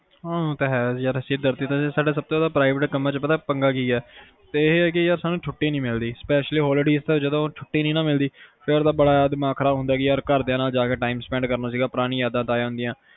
ਹਾਂ ਇਹ ਤਾ ਹੈ ਯਾਰ ਸਿਰਦਰਦੀ ਤਾ ਹੈ ਸਦਾ ਸਬ ਤੋਂ ਜਾਂਦਾ private ਕਮਾ ਚ ਪਤਾ ਪੰਗਾ ਕੀ ਆ ਸਾਨੂ ਛੁਟੀ ਨੀ ਮਿਲਦੀ specially holidays ਜਦੋ ਛੁਟੀ ਨੀ ਮਿਲਦੀ ਫਿਰ ਤਾ ਬੜਾ ਦਿਮਾਗ ਖਰਾਬ ਹੁੰਦਾ ਕੇ ਘਰਦਿਆਂ ਨਾਲ time spend ਕਰਨਾ ਸੀ ਪੁਰਾਣੀ ਯਾਦਾ ਤਜਿਆ ਕਰਨੀਆਂ ਸੀ